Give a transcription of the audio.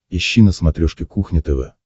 ищи на смотрешке кухня тв